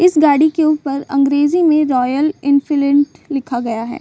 इस गाड़ी के ऊपर अंग्रेजी में रॉयल एनफील्ड लिखा गया है।